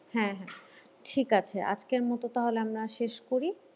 হ্যাঁ হ্যাঁ ঠিক আছে আজকের মতো তাহলে আমরা শেষ করি।